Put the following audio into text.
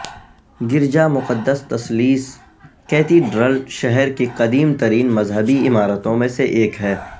گرجا مقدس تثلیث کیتیڈرل شہر کی قدیم ترین مذہبی عمارتوں میں سے ایک ہے